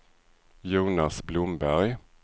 Jonas Blomberg